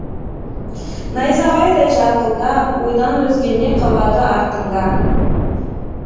найзағайдай жарқылда ойдан өзге не қалады артыңда